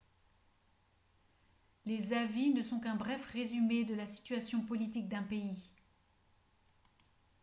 les avis ne sont qu'un bref résumé de la situation politique d'un pays